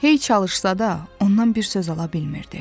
Hey çalışsa da, ondan bir söz ala bilmirdi.